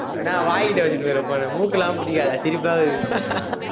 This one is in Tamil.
என்ன, வாய் கிட்ட வச்சுட்டு வர phone மூக்குலாம் பிடிக்காத, சிரிப்பா வருது